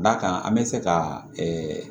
Da kan an bɛ se ka